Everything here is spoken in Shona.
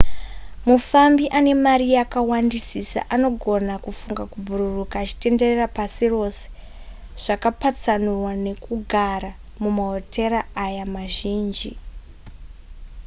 mufambi ane mari yakawandisisa anogona kufunga kubhururuka achitenderera pasi rose zvakapatsanurwa nekugara mumahotera aya mazhinji